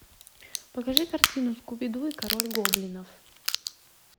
покажи картину скуби ду и король гоблинов